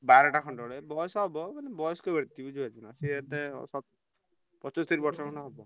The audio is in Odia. ବାରଟା ଖଣ୍ଡ ବେଳେ ବୟସ ହବ ମାନେ ବୟସ୍କ ବ୍ୟକ୍ତି ବୁଝିପାରୁଛୁନା। ସିଏ ଏତେ ସ ପଚସ୍ତରୀ ବର୍ଷ ଖଣ୍ଡେ ହବ।